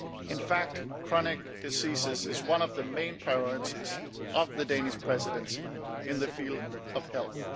In fact, chronic disease is one of the main priorities of the Danish Presidency in the field of health.